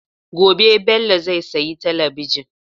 Gobe Bello zai sayi talabijin.